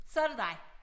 Så det dig